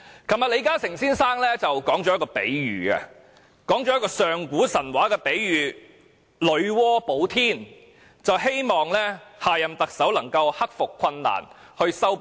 昨天，李嘉誠先生說了一個上古神話的比喻"女媧補天"，希望下任特首能夠克服困難，修補裂縫。